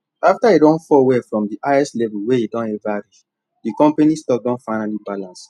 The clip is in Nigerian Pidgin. after e don fall well from the highest level wey e don ever reach the company stock don finally balance